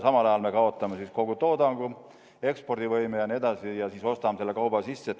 Samal ajal me kaotame kogu toodangu, ekspordivõime jne, ja siis ostame selle kauba sisse.